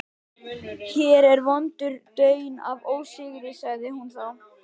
Hér er vondur daunn af ósigri, sagði hún þá.